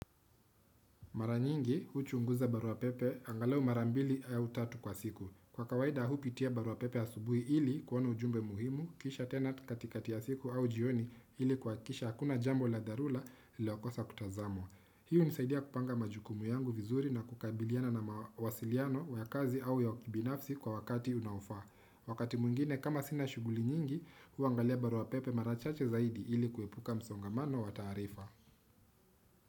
Mara nyingi, huchunguza barua pepe, angalau mara mbili au tatu kwa siku. Kwa kawaida, hupitia barua pepe ya asubuhi ili kuona ujumbe muhimu, kisha tena katikati ya siku au jioni ili kuhakikisha hakuna jambo la dharula nililokosa kutazama. Hiyo hunisaidia kupanga majukumu yangu vizuri na kukabiliana na mawasiliano wa kazi au ya ukibinafsi kwa wakati unaofaa. Wakati mwingine kama sina shughuli nyingi, huangalia barua pepe mara chache zaidi ili kuepuka msongamano wataarifa.